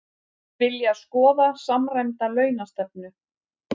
Vilja skoða samræmda launastefnu